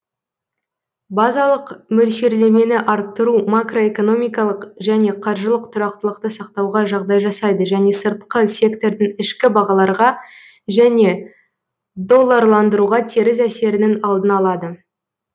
базалық мөлшерлемені арттыру макроэкономикалық және қаржылық тұрақтылықты сақтауға жағдай жасайды және сыртқы сектордың ішкі бағаларға және долларландыруға теріс әсерінің алдын алады